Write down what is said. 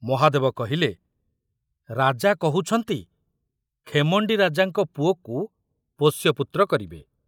ମହାଦେବ କହିଲେ, ରାଜା କହୁଛନ୍ତି ଖେମଣ୍ଡି ରାଜାଙ୍କ ପୁଅକୁ ପୋଷ୍ୟପୁତ୍ର କରିବେ।